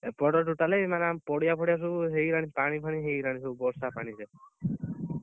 ଏପଟ totally ମାନେ ଆମ ପଡିଆ ଫଡିଆ ସବୁ ହେଇଗଲାଣି ପାଣି ଫାଣୀ ହେଇଗଲାଣି ସବୁ ବର୍ଷା ପାଣିରେ